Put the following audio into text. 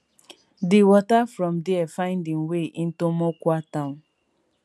di water from dia find im way into mokwa town